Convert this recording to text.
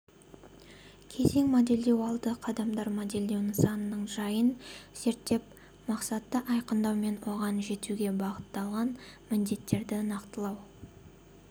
кезең модельдеу алды қадамдар модельдеу нысанының жайын зерттеу мақсатты айқындау мен оған жетуге бағытталған міндеттерді нақтылау